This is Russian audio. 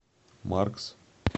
маркс